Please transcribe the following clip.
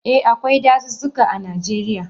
Eh, akwai dazuzzuka a Najeriya.